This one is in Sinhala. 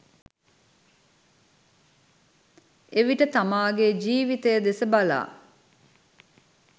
එවිට තමාගේ ජිවිතය දෙස බලා